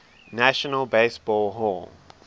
national baseball hall